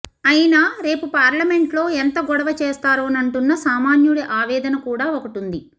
ఐనా రేపు పార్లమెంట్లో ఎంత గొడవ చేస్తారోనంటున్న సామాన్యుడి ఆవేదన కూడా ఒకటుంది